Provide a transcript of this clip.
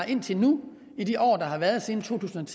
indtil nu i de år der har været siden to tusind og